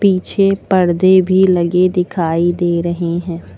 पीछे परदे भी लगे दिखाई दे रहे है।